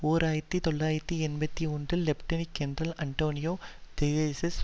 ஓர் ஆயிரத்தி தொள்ளாயிரத்து எண்பத்தி ஒன்றில் லெப்டினட் கேர்னல் அன்டானியோ தெஜோரஸ்